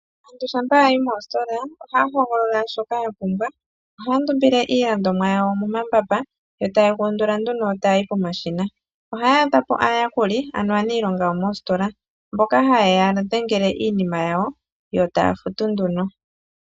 Aantu shampa ya yi moositola, ohaya hogolola shoka ya pumbwa. Ohaya ndumbile iilandomwa yawo momambamba, etaye ga undula nduno taya yi komashina. Ohaya adha po aayakuli, ano aaniilonga yomoositola, mboka haye ya dhengele iinima yawo, yo taya futu nduno.